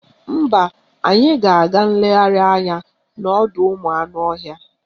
Mba, anyị ga-aga nlegharị anya n'ọdọụmụanụọhịa